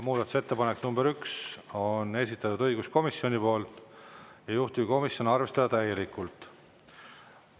Muudatusettepanek nr 1 on esitatud õiguskomisjoni poolt, juhtivkomisjon: arvestada täielikult.